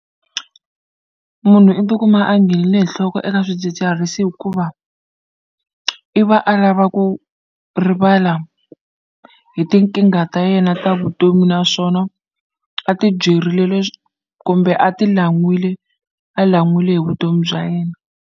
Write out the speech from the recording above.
Munhu i ti kuma a nghenile hi nhloko eka swidzidziharisi hikuva, i va a lava ku rivala hi tinkingha ta yena ta vutomi naswona a ti byerile kumbe a ti lan'wile a lan'wile hi vutomi bya yena.